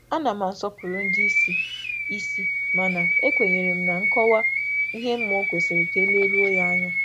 E nwere m ekele maka nduzi, ma e e kwè m na nkọwa kwesị ịgbàà mbọ n’ime mkparịta ụka.